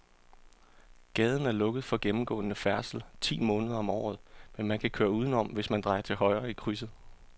Gaden er lukket for gennemgående færdsel ti måneder om året, men man kan køre udenom, hvis man drejer til højre i krydset.